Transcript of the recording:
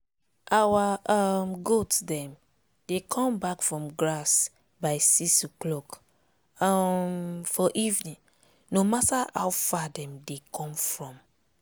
our um goat dem dey come back from grass by six o'clock for evening no matter how far dem dey come from